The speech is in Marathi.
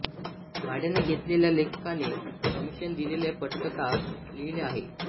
भाड्याने घेतलेल्या लेखकाने कमिशन दिलेली पटकथा लिहिली आहे